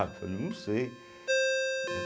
Eu falei, não sei.